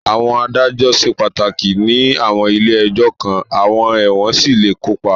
Àwọn adájọ́ ṣe pàtàkì ní àwọn ilé ẹjọ́ kan, àwọn ẹ̀wọ̀n sì lè kópa.